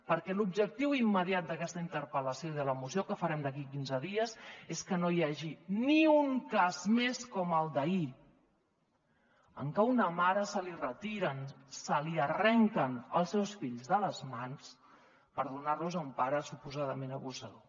perquè l’objectiu immediat d’aquesta interpel·lació i de la moció que farem d’aquí a quinze dies és que no hi hagi ni un cas més com el d’ahir en què a una mare se li retiren se li arrenquen els seus fills de les mans per donar los a un pare suposadament abusador